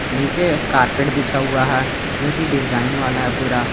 नीचे कारपेट बिछा हुआ है जो की डिजाइन वाला है पूरा।